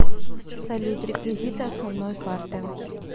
салют реквизиты основной карты